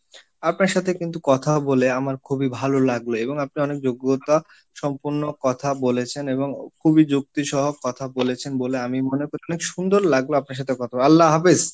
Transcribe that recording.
আপনার সাথে কিন্তু কথা বলে আমার খুবই ভালো লাগলো, এবং আপনি অনেক যোগ্যতা সম্পন্ন কথা বলেছেন, এবং খুবই যুক্তি সহক কথা বলেছেন বলে আমি মনে করি, অনেক সুন্দর লাগবে আপনার সাথে কথা বলে আল্লাহ হাফেজ।